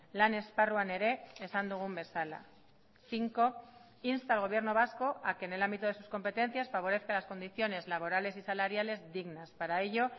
lan esparruan ere esan dugun bezala cinco insta al gobierno vasco a que en el ámbito de sus competencias favorezca las condiciones laborales y saláriales dignas para ello